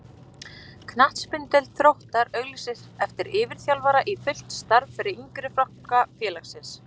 Knattspyrnudeild Þróttar auglýsir eftir yfirþjálfara í fullt starf fyrir yngri flokka félagsins.